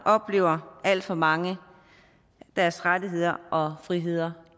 oplever alt for mange deres rettigheder og friheder